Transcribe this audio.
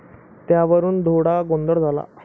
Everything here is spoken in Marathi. त्यावरुन थोडा गोंधळ झाला.